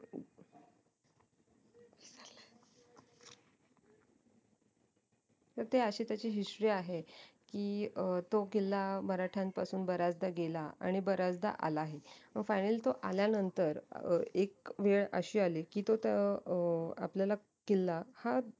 तर अशी त्याची history आहे कि अं तो किल्ला मराट्यांपासून बऱ्याचदा गेला आणि बऱ्याचदा आला ही म finally तो आल्यानंतर एक वेळ अशी अली की तो अह आपल्याला किल्ला हा